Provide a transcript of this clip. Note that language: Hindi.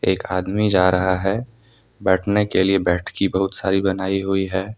एक आदमी जा रहा है बैठने के लिए बैठकी बहुत सारी बनाई हुई है।